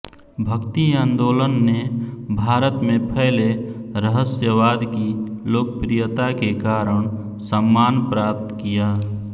भक्ति आंदोलन ने भारत में फैले रहस्यवाद की लोकप्रियता के कारण सम्मान प्राप्त किया